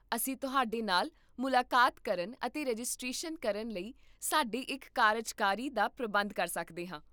ਅਸੀਂ ਤੁਹਾਡੇ ਨਾਲ ਮੁਲਾਕਾਤ ਕਰਨ ਅਤੇ ਰਜਿਸਟ੍ਰੇਸ਼ਨ ਕਰਨ ਲਈ ਸਾਡੇ ਇੱਕ ਕਾਰਜਕਾਰੀ ਦਾ ਪ੍ਰਬੰਧ ਕਰ ਸਕਦੇ ਹਾਂ